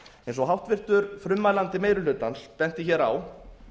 eins og háttvirtur frummælandi meiri hlutans benti hér á